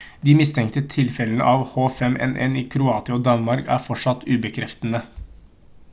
de mistenkte tilfellene av h5n1 i kroatia og danmark er fortsatt ubekreftede